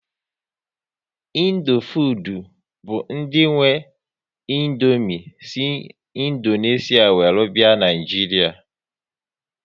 Indofood bụ ndị nwe Indomie si Indonesia were bịa Naịjiria